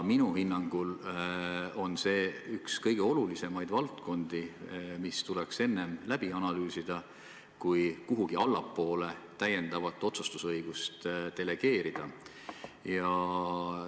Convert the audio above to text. Minu hinnangul on see üks kõige olulisemaid valdkondi, mis tuleks läbi analüüsida, enne kui kuhugi allapoole täiendavat otsustusõigust delegeerida.